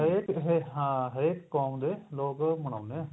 ਹਰੇਕ ਕਿਸੇ ਹਾਂ ਹਰੇਕ ਕੋਮ ਦੇ ਲੋਕ ਮਨਾਉਂਦੇ ਆ